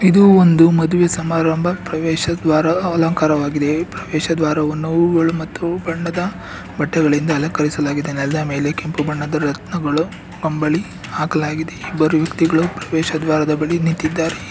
ಇದು ಒಂದು ಮದುವೆ ಸಮಾರಂಭ ಪ್ರವೇಶ ದ್ವಾರ ಅಲಂಕಾರವಾಗಿದೆ ಈ ಪ್ರವೇಶ ದ್ವಾರವನ್ನು ಹೂಗಳು ಮತ್ತು ಬಣ್ಣದ ಬಟ್ಟೆಗಳಿಂದ ಅಲಂಕರಿಸಲಾಗಿದೆ ನೆಲದ ಮೇಲೆ ಕೆಂಪು ಬಣ್ಣದ ರತ್ನಗಳು ಕಂಬಳಿ ಹಾಕಲಾಗಿದೆ ಇಬ್ಬರು ವ್ಯಕ್ತಿಗಳು ಪ್ರವೇಶ ದ್ವಾರದ ಬಳಿ ನಿಂತಿದ್ದಾರೆ.